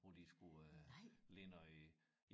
Hvor de skulle øh lige noget